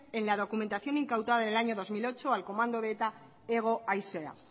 en la documentación incautada en el año dos mil ocho al comando de eta hego haizea